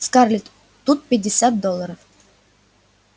скарлетт тут пятьдесят долларов